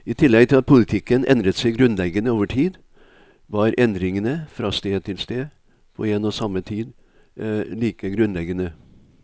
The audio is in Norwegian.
I tillegg til at politikken endret seg grunnleggende over tid, var endringene fra sted til sted på en og samme tid like grunnleggende.